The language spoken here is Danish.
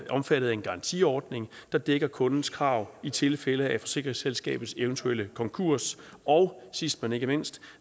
omfattet af en garantiordning der dækker kundens krav i tilfælde af forsikringsselskabers eventuelle konkurs og sidst men ikke mindst